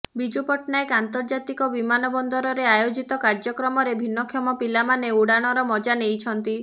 ବିଜୁ ପଟ୍ଟନାୟକ ଆନ୍ତର୍ଜାତିକ ବିମାନ ବନ୍ଦରରେ ଆୟୋଜିତ କାର୍ଯ୍ୟକ୍ରମରେ ଭିନ୍ନକ୍ଷମ ପିଲାମାନେ ଉଡ଼ାଣର ମଜା ନେଇଛନ୍ତି